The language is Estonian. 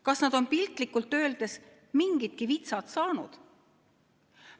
Kas nad on, piltlikult öeldes, mingidki vitsad saanud?